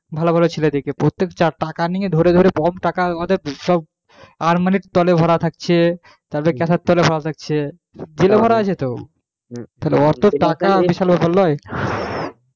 ভালো ঘরের ছেলে দিকে প্রত্যেক টাকা নিয়ে ধরে ধরে কম টাকা ওদের সব আলমারির তলে ভরা থাকছে তাদের গ্যাসের তলায় ভরা থাকছে, জেলে ভরা আছে তো